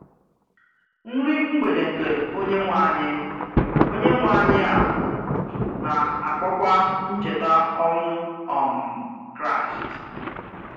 Nri mgbede nke Onye-nwe-anyị Onye-nwe-anyị a na-akpọkwa ncheta ọnwụ um Kraịst.